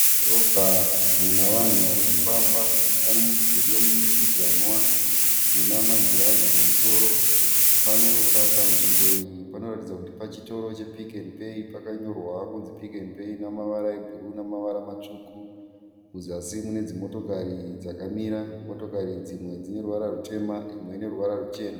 Dhorobha muna vanhu vari kufamba. Pane mudhuri wemudurikidzwana una magirazi kumusoro. Panzvimbo iyi panoratidza kuti pachitoro che Pick n Pay, pakanyorwa kunzi Pick n Pay namavara ebhuruu namavara matsvuku. Muzasi mune dzimotokari dzakamira. Motokari dzimwe dzine ruvara rutema imwe ine ruvara ruchena.